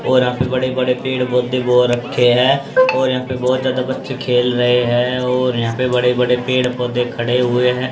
और यहां पे बड़े बड़े पेड़ पौधे बो रखे हैं और यहां पे बहुत ज्यादा बच्चे खेल रहे हैं और यहां पे बड़े बड़े पेड़ पौधे खड़े हुए हैं।